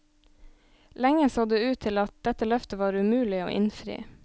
Lenge så det ut til at dette løftet var umulig å innfri.